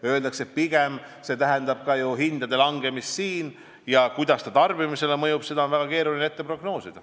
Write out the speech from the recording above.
Öeldakse, et pigem tähendab see hindade langemist siin ja seda, kuidas see tarbimisele mõjub, on väga keeruline prognoosida.